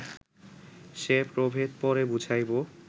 সে প্রভেদ পরে বুঝাইব